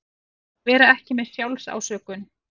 Vera ekki með SJÁLFSÁSÖKUN